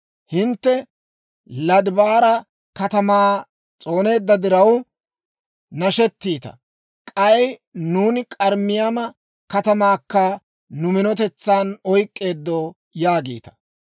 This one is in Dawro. Hintte Lodabaara katamaa s'ooneedda diraw nashettiita; k'ay, «Nuuni K'arnnayima katamaakka nu minotetsan oyk'k'eeddo» yaagiita.